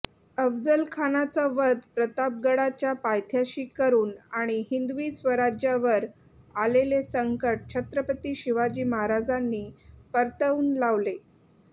अफजलखानाचा वध प्रतापगडाच्या पायथ्याशी करून आणि हिंदवी स्वराज्यावर आलेले संकट छत्रपती शिवाजी महाराजांनी परतवून लावले